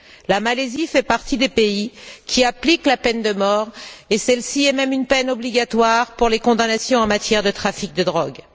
La Malaisie fait partie des pays qui appliquent la peine de mort, et celle ci est même une peine obligatoire pour les condamnations en matière de trafic de drogue.